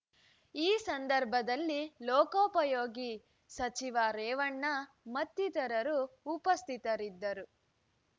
ಈ ಸಂದರ್ಭದಲ್ಲಿ ಲೋಕೋಪಯೋಗಿ ಸಚಿವ ರೇವಣ್ಣ ಮತ್ತಿತರರು ಉಪಸ್ಥಿತರಿದ್ದರು